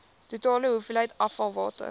totale hoeveelheid afvalwater